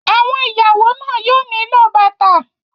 Àwọn ìyàwó náà yóò nílò bàtà.